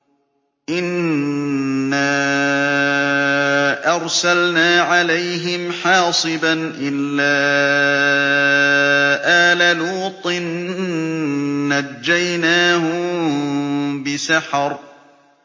إِنَّا أَرْسَلْنَا عَلَيْهِمْ حَاصِبًا إِلَّا آلَ لُوطٍ ۖ نَّجَّيْنَاهُم بِسَحَرٍ